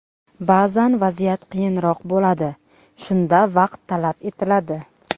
Ba’zan vaziyat qiyinroq bo‘ladi, shunda vaqt talab etiladi.